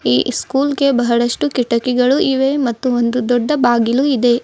ಈ ಸ್ಕೂಲ್ ಗೆ ಬಹಳಷ್ಟು ಕಿಟಕಿಗಳು ಇವೆ ಮತ್ತು ಒಂದು ದೊಡ್ಡ ಬಾಗಿಲು ಇದೆ.